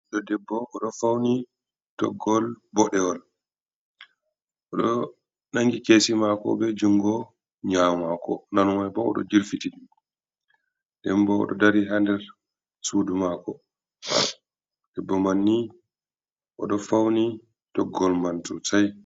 Ɗo debbo, o ɗo fawni toggol boɗewol, o ɗo nanngi keesi maako, be junngo nyaamo maako, nano may bo o ɗo jirfitidi. Debbo o ɗo dari, haa nder suudu maako, debbo man ni, o ɗo fawni toggol man soosay.